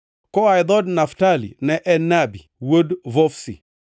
koa e dhood Naftali, ne en Nabi wuod Vofsi;